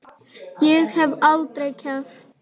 Ég hef aldrei keppt.